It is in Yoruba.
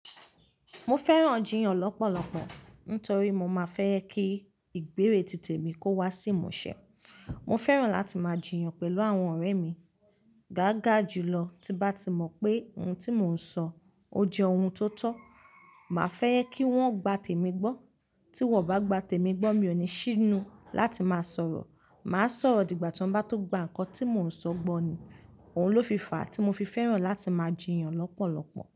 Mo fẹ́ràn jiyàn lọ́pọ̀lọpọ̀ nítorí mo máa fẹ́ kí ìgbérè títè mi kó wá sí ìmúṣẹ. Mo fẹ́ràn láti máa jiyàn pẹ̀lú àwọn ọ̀rẹ́ mi gáagà jùlọ. Tí bá ti mọ̀ pé ohun tí mò ń sọ ó jẹ́ ohun tó tọ́, màá fẹ́ kí wọ́n gba tèmi gbọ́. Tí wọ́n ò bá gba tèmi gbọ́, mi ò ní ṣinu láti máa sọ̀rọ̀. Màá sọ̀rọ̀ dìgbà tí wọ́n bá tó gba nkan tí mò ń sọ gbọ́ ni. Ohun ló fi fàá tí mo fi fẹ́ràn láti máa jiyàn lọ́pọ̀lọpọ̀.